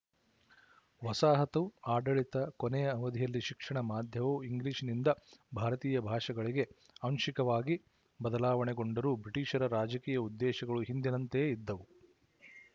ವಸಾಹತು ಆಡಳಿತ ಕೊನೆಯ ಅವಧಿಯಲ್ಲಿ ಶಿಕ್ಷಣ ಮಾಧ್ಯವು ಇಂಗ್ಲಿಶಿನಿಂದ ಭಾರತೀಯ ಭಾಷೆಗಳಿಗೆ ಆಂಶಿಕವಾಗಿ ಬದಲಾವಣೆಗೊಂಡರೂ ಬ್ರಿಟಿಶರ ರಾಜಕೀಯ ಉದ್ದೇಶಗಳು ಹಿಂದಿನಂತೆಯೇ ಇದ್ದವು